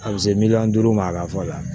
A bɛ se miliyɔn duuru ma a ka fa la